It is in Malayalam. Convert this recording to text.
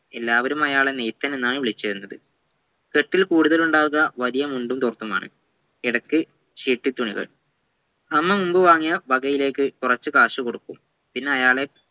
എല്ലാവരുമായാളെ നെയ്തനെന്നാണു വിളിച്ചിരുന്നത് കെട്ടിൽ കൂടുതലും ഉണ്ടാവുക വലിയ മുണ്ടും തോർത്തുമാണ് ഇടക്ക് ഷെഡ്‌ഡിതുണികൾ 'അമ്മ മുമ്പ് വാങ്ങിയ വകയിലേക്കു കുറച്ചു കാശുകൊടുക്കും പിന്നെ അയാളെ